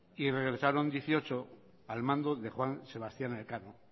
y regresaron dieciocho al mando de juan sebastián elcano